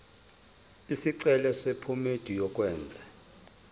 isicelo sephomedi yokwenze